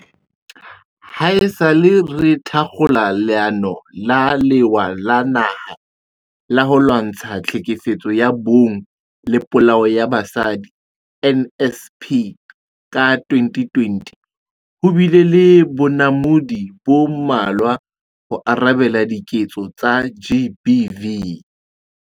Haesale re thakgola Leano la Lewa la Naha la ho Lwantsha Tlhekefetso ya Bong le Polao ya Basadi, NSP, ka 2020, ho bile le bonamodi bo mmalwa ho arabela diketso tsa GBV.